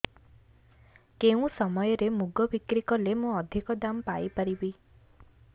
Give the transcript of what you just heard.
କେଉଁ ସମୟରେ ମୁଗ ବିକ୍ରି କଲେ ମୁଁ ଅଧିକ ଦାମ୍ ପାଇ ପାରିବି